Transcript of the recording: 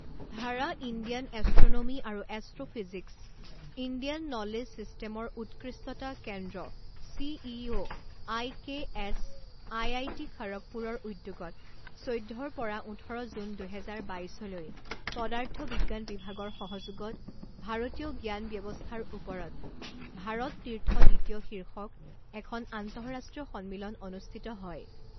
ধাৰা Indian astronomy আৰু astro physics Indian knowledge চিষ্টেমৰ উৎকৃষ্টতা কেন্দ্ৰ C E O I K S, I I T খড়গপুৰৰ উদ্যোগত চৈধ্য পৰা ওঠৰ জুন দুহেজাৰ বাইছলৈ পদাৰ্থ বিজ্ঞান বিভাগৰ সহযোগত ভাৰতীয় জ্ঞান ব্যৱস্থাৰ ওপৰত ভাৰত তীৰ্থ দ্বিতীয় শীৰ্ষক এখন আন্তঃৰাষ্ট্ৰীয় সন্মিলন অনুষ্ঠিত হয়।